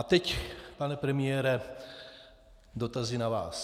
A teď, pane premiére, dotazy na vás.